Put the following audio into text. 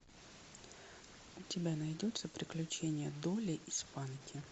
у тебя найдется приключения долли испанки